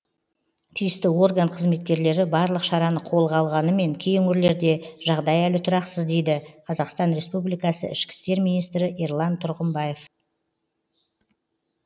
тиісті орган қызметкерлері барлық шараны қолға алғанымен кей өңірлерде жағдай әлі тұрақсыз дейді қазақстан республикасы ішкі істер министрі ерлан тұрғымбаев